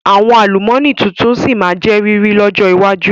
Àwọn àlùmọ́nì tuntun sí má jẹ́ riri ọjọ́ iwájú